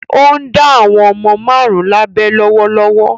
Ó ń dá àwọn ọmọ márùn-ún lábẹ lọ́wọ́lọ́wọ́.